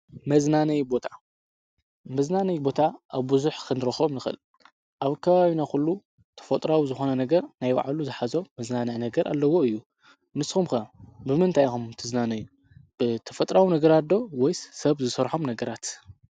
ናይመዝናነይ ቦታ ኣብብዙኅ ኽንረኸም ንኽል ኣብ ካባዩና ዂሉ ተፈጥራዊ ዝኾነ ነገር ናይ ብዕሉ ዝኃዞ መዝናንያ ነገር ኣለዎ እዩ ንስምከ ብምንታይኹም ትዝናነይ ብ ተፈጥራዊ ነገራዶ ወይስ ሰብ ዝሠርሖም ነገራት